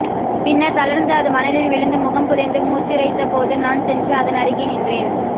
பின்னர் தளர்ந்து அது மணலில் விழுந்து முகம் புதைத்து மூச்சிரைத்தபோது நான் சென்று அதனருகே நின்றேன்